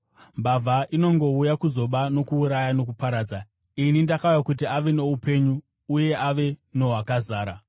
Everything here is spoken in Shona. Mbavha inongouya kuzoba nokuuraya nokuparadza; ini ndakauya kuti ave noupenyu, uye ave nohwakazara.